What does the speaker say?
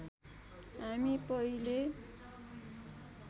हामी पहिले